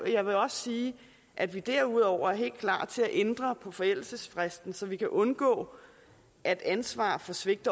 jeg vil også sige at vi derudover er helt klar til at ændre på forældelsesfristen så vi kan undgå at ansvaret for svigt